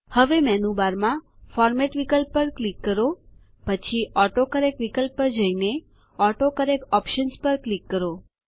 હવે મેનુબારમાં ફોર્મેટ વિકલ્પ પર ક્લિક કરો પછી ઓટોકરેક્ટ વિકલ્પ પર જઈને ઓટોકરેક્ટ ઓપ્શન્સ પર ક્લિક કરો